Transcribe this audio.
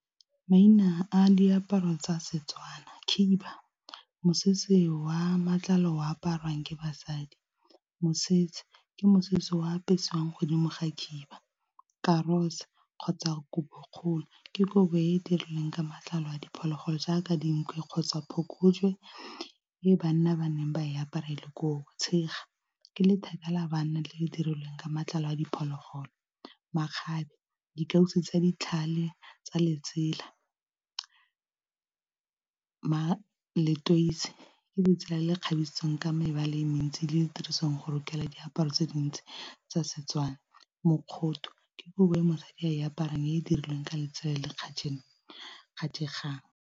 Maina a diaparo tsa Setswana khiba mosese wa matlalo o aparwang ke basadi mosese ke mosese wa apesewang godimo ga khiba, karose kgotsa kobo kgolo ke kobo e e dirilweng ka matlalo a diphologolo jaaka dinku kgotsa phokojwe e banna ba neng ba e aparele ko, tshega ke letheka la banna le le dirilweng ka matlalo a diphologolo, makgabe di kauso tsa ditlhale tsa letsela, letweitse ke letsela le kgabisitsweng ka mebala e mentsi le tirisong go rokela diaparo tse dintsi tsa Setswana, mokgoto ke kobo e mosadi a e aparang e e dirilweng ka letsela le le kgatlhegang.